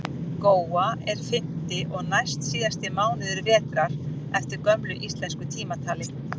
góan er fimmti og næstsíðasti mánuður vetrar eftir gömlu íslensku tímatali